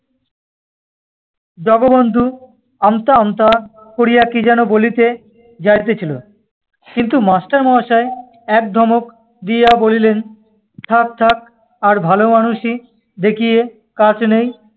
জগবন্ধু আমতা আমতা করিয়া কি যেন বলিতে যাইতেছিল, কিন্তু master মহাশয় এক ধমক দিয়া বলিলেন থাক্ থাক্ আর ভালোমানুষি দেখিয়ে কাজ নেই,